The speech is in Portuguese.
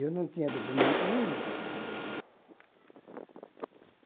Eu não tinha documento nenhum.